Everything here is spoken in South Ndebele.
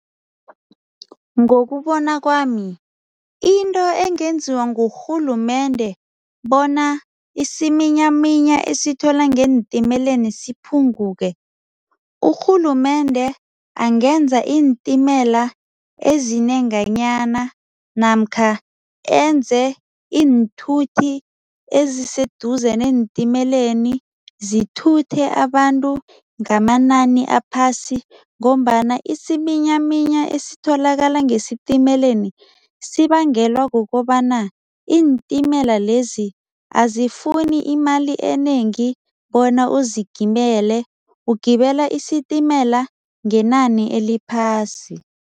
Ngokubona kwami into engenziwa ngurhulumende bona isiminyaminya esithola ngeentimeleni siphunguke, urhulumende angenza iintimela ezinenganyana namkha enze iinthuthi eziseduze neentimeeleni, zithuthe abantu ngamanani aphasi ngombana isiminyaminya esitholakala ngesitimeleni sibangelwa kukobana iintimela lezi azifuni imali enengi bona uzigibele, ugibela isitimela ngenani eliphasi.